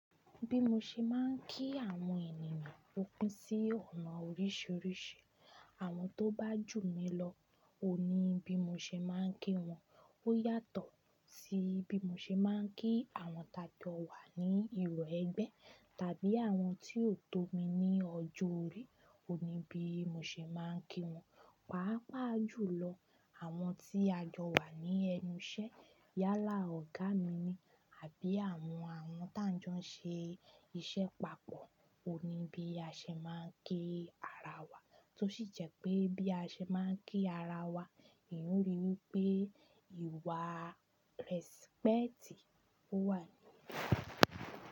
Bí mo ṣe máà ń kí àwọn ènìyàn pin sí ọ̀nà oríṣiríṣi. Àwọn tó bá jù mí lọ, òní bí mo ṣe máa ń kí wọn. Ó yàtọ̀ sí bí mo ṣe máa ń kí àwọn tàkọ̀ wá ní ìró ẹgbẹ́, tàbí àwọn tí ó tó mi ní ọjọ́ orí, òní bí mo ṣe máa ń kí wọn. Pàápàá jù lọ, àwọn tí a jọ wà ní ẹnu iṣẹ́ yálà ọ̀gá mi ni àbí àwọn àwọn tá ń jọ ṣe iṣẹ́ papọ̀, òní bí a ṣe máa ń kí ara wa, tó sì jẹ́ pé bí a ṣe máa ń kí ara wa, èèyàn o rí wí pé ìwà rẹ́sípẹ́ẹ̀tì ó wà ní inú.